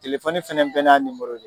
fana bɛɛ n'a don.